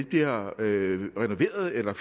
bliver renoveret eller